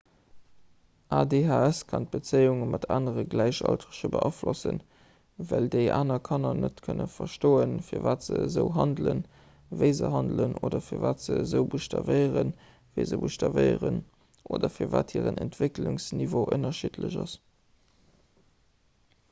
adhs kann d'bezéiunge mat anere gläichaltrege beaflossen well déi aner kanner net kënne verstoen firwat se esou handelen wéi se handelen oder firwat esou buschtawéieren wéi se buschtawéieren oder firwat hiren entwécklungsniveau ënnerschiddlech ass